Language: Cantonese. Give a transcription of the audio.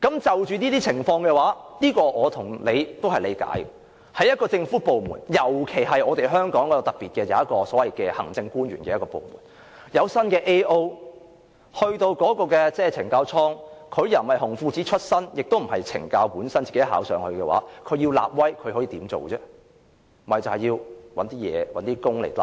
就這些情況，我和你也能理解，因為在一個政府部門，尤其是香港較為特別，設有所謂政務主任的部門，如果有一位新 AO 到懲教所工作，他既不是"紅褲子"出身，也不是懲教署內考核擢升，他要立威的話，可以怎麼做呢？